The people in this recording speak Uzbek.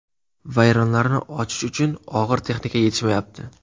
Vayronlarni ochish uchun og‘ir texnika yetishmayapti.